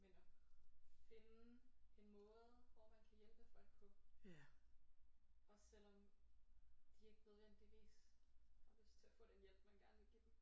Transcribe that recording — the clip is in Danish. Men at finde en måde hvor man kan hjælpe folk på også selvom de ikke nødvendigvis har lyst til at få den hjælp man gerne vil give dem